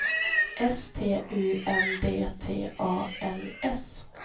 S T U N D T A L S